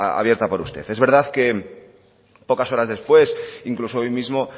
abierta por usted es verdad que pocas horas después incluso hoy mismo